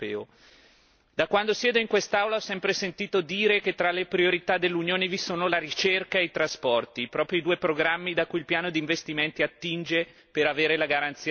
Da quando siedo in quest'Aula ho sempre sentito dire che tra le priorità dell'Unione vi sono la ricerca e i trasporti, proprio i due programmi da cui il piano di investimenti attinge per avere la garanzia di copertura.